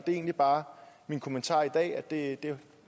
egentlig bare min kommentar i dag nemlig at jeg